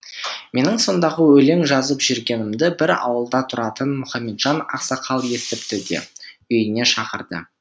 менің сондағы өлең жазып жүргенімді бір ауылда тұратын мұхамеджан ақсақал естіпті де үйіне шақырды